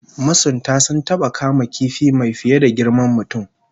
Masuntan sun taba kama kifi mai fiye da girman mutum